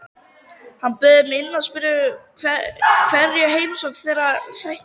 Hann bauð þeim inn og spurði hverju heimsókn þeirra sætti.